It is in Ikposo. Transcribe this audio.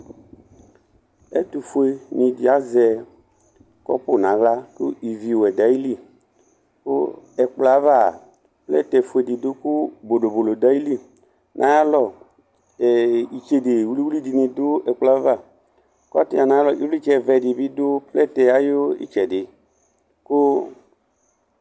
Ɛtʋfuenɩ dɩ azɛ kɔpʋ nʋ aɣla kʋ iviwɛ dʋ ayili kʋ ɛkplɔ yɛ ava a, plɛtɛ dɩ dʋ kʋ bodobodo dʋ ayili Nʋ ayalɔ ee itsede wili-wili dɩnɩ dʋ ɛkplɔ yɛ ava Kʋ atsɩɣa nʋ alɔ ɩvlɩtsɛvɛ dɩ dʋ plɛtɛ yɛ ayʋ ɩtsɛdɩ kʋ